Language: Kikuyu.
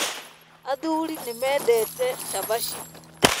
Athuri ni mendete cabaci